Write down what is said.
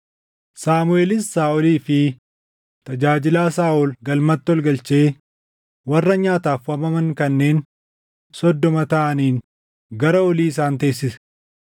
Saamuʼeelis Saaʼolii fi tajaajilaa Saaʼol galmatti ol galchee warra nyaataaf waamaman kanneen soddoma taʼaniin gara olii isaan teessise.